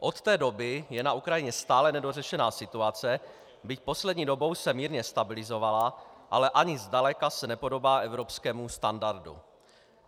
Od té doby je na Ukrajině stále nedořešená situace, byť poslední dobou se mírně stabilizovala, ale ani zdaleka se nepodobá evropskému standardu.